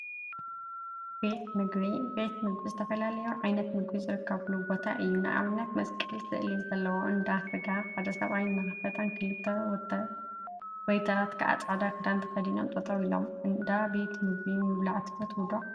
ቤት ምግቢ ቤት ምግቢ ዝተፈላዩ ዓይነት ምግቢ ዝርከቡሉ ቦታ እዩ፡፡ ንአብነት መስቀል ስእሊ ዘለዎ እንዳ ስጋ ሓደ ሰብአይ እናከተፈን ክልተ ወይተራት ከዓ ፃዕዳ ክዳን ተከዲኖም ጠጠወ ኢሎም፡፡ እንዳ ቤት ምግቢ ምብላዕ ትፈትው ዶ?